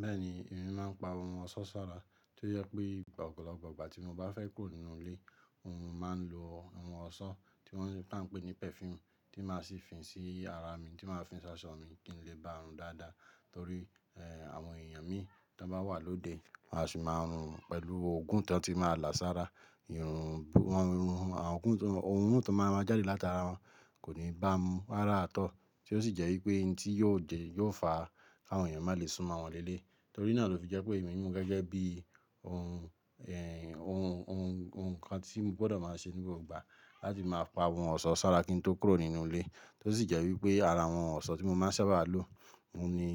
Bẹ́ẹ̀ni, èmi máa ń pa ohun ọ̀ṣọ́ sára tó jẹ pé ọ̀pọ̀lọpọ̀ ìgbà tí mo bá fẹ́ kúrò nínú ilé, ohun mo máa ń lo àwọn ọ̀ṣọ́ tí wọ́n ta ń pè ní perfume tí máa sì fín sí ara mi tí máa fin ṣaṣọ mi kí n lè bá run dáadáa. Torí, àwọn èèyàn mi tan bá wà lóde wọn á sì máa rùn pẹ̀lú òógùn tan ti máa là sára. Ìrùn, wọn, irun, àwọn òógùn, òórùn tó máa máa jáde látara wọn kò ní bá mu rárá at all. Tí ó sì jẹ́ wípé n tí yóò jẹ yóò fà á kí àwọn èèyàn má lè súnmọ́ mọ wọn léleyi. Torí náà ló fi jẹ́ pé èmi mú gẹ́gẹ́ bí ohun, ohun, ohun, ohun kan tí mo gbọdọ̀ máa ṣe ní gbgbo ìgbà láti máa pa ohun ọ̀ṣọ́ sára kí n tó kúrò nínú ilé. Tí ó sì jẹ́ wípé ara àwọn ọ̀ṣọ́ tí mo máa ń sábà lo òun ni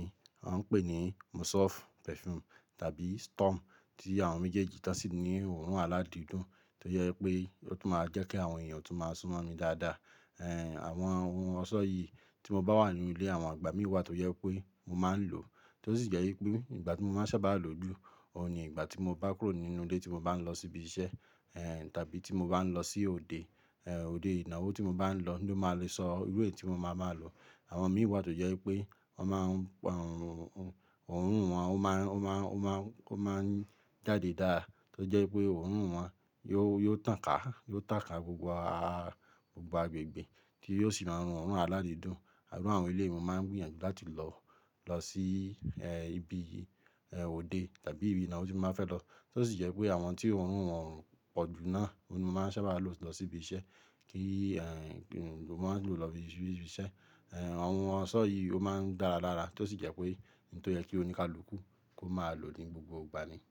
wọ́n ń pè ní Musov perfume tàbí Storm tí àwọn méjèèjì tọ́ sì ní òórùn aládìídùn tó jẹ wípé ó tún máa jẹ́ kí àwọn èèyàn tún máa súnmọ́ mi dáadáa. Àwọn ohun ọ̀ṣọ́ yìí tí mo bá wà nínú ilé àwọn ìgbà mí wà tó jẹ wípé mo máa ń lò. Tí ó sì jẹ́ wípé ìgbà tí mo máa ń sábà lò jù, òun ni ìgbà tí mo bá kúrò nínú ilé tí mo bá ń lọ síbi iṣẹ́, tàbí tí mo bá ń lọ sí òde, òde ìnáwó tí mo bá ń lọ ló máa le sọ irú èyí tí mo máa máa lò. Àwọn mi wà tó jẹ́ wípé wọ́n máa ń pa, òórùn wọn ó máa, ó máa, ó máa, ó máa ń jáde dáadáa tó jẹ́ pé òórùn wọn yóò, yóò tàn ká, yóò tàn ká gbogbo gbogbo agbègbè kí ó sì máa rùn oọ̀rùn aládìídùn. Irú àwọn eléyi mo máa ń gbìyànjú láti lọ, lọ sí, ibi, òde tàbí ibi ìnáwó tí mo bá fẹ́ lọ. Tí ó sì jẹ́ wípé àwọn tí òórùn wọn pọ̀ jù náà òun ni mo máa ń sábà lò lọ sí ibi iṣẹ́ kí, mo máa ń lò lọ ibi iṣẹ́. Àwọn ọ̀ṣọ́ yìí ó máa ń dára dára tí ó sì jẹ́ pé ohun tó yẹ kí oníkálukú kó máa lò ní gbogbo ìgbà ni.